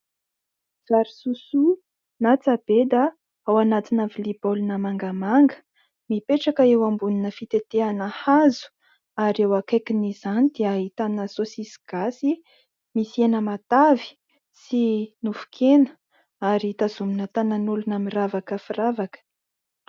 Vary sosoa na tsabeda ao anatina vilia baolina mangamanga mipetraka eo ambonina fitetehana hazo ary eo akaikin' izany dia ahitana sosisy gasy misy hena matavy sy nofon-kena ary tazomina tanan' olona miravaka firavaka.